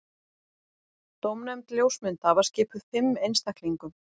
Dómnefnd ljósmynda var skipuð fimm einstaklingum